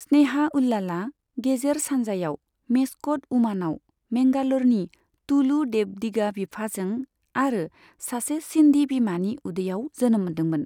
स्नेहा उल्लालआ गेजेर सानजायाव मेस्कट उमानाव मेंगालरनि तुलु देवडिगा बिफाजों आरो सासे सिन्धी बिमानि उदैयाव जोनोम मोन्दोंमोन।